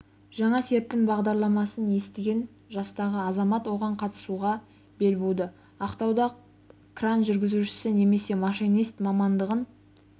жаңа серпін бағдарламасын естіген жастағы азамат оған қатысуға бел буады ақтауда кран жүргізушісі немесе машинист мамандығын